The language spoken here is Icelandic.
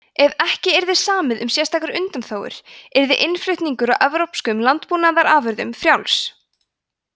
ef ekki yrði samið um sérstakar undanþágur yrði innflutningur á evrópskum landbúnaðarafurðum frjáls